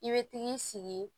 I bɛ t'i sigi